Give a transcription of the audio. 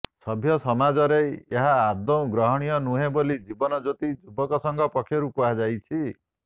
ସଭ୍ୟ ସମାଜରେ ଏହା ଆଦୌ ଗ୍ରହଣୀୟ ନୁହେଁ ବୋଲି ଜୀବନ ଜ୍ଯୋତି ଯୁବକ ସଂଘ ପକ୍ଷରୁ କୁହାଯାଇଛି